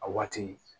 A waati